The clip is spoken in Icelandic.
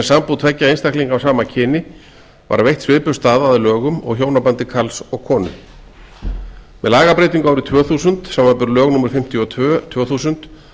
sambúð tveggja einstaklinga af sama kyni var veitt svipuð staða að lögum og hjónabandi karls og konu með lagabreytingu árið tvö þúsund samanber lög númer fimmtíu og tvö tvö þúsund